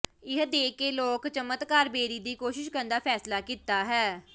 ਇਹ ਦੇਖ ਕੇ ਲੋਕ ਚਮਤਕਾਰ ਬੇਰੀ ਦੀ ਕੋਸ਼ਿਸ਼ ਕਰਨ ਦਾ ਫੈਸਲਾ ਕੀਤਾ ਹੈ